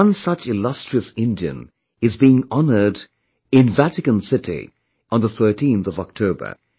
One such illustrious Indian is being honoured in Vatican City on 13th October